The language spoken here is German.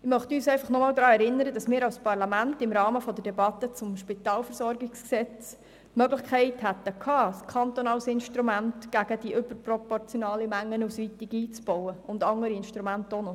Ich möchte uns einfach noch einmal daran erinnern, dass wir als Parlament im Rahmen der Debatte zum Spitalversorgungsgesetz (SpVG) die Möglichkeit gehabt hätten, ein kantonales Instrument gegen die überproportionale Mengenausweitung einzubauen und auch noch andere Instrumente.